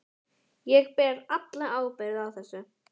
Ég ber alla ábyrgð á þessu.